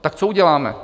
Tak co uděláme?